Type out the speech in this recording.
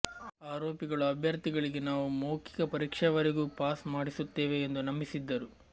ಆರೋಪಿಗಳು ಅಭ್ಯರ್ಥಿಗಳಿಗೆ ನಾವು ಮೌಖಿಕ ಪರೀಕ್ಷೆವರೆಗೂ ಪಾಸ್ ಮಾಡಿಸುತ್ತೇವೆ ಎಂದು ನಂಬಿಸಿದ್ದರು